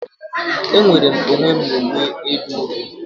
Emere m onwe m uwe edo odo